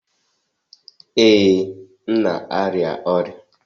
Ee, m na-arịa ọrịa